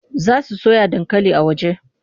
Za su soya dankali a waje.